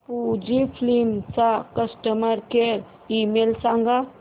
Fujifilm चा customer care email सांगा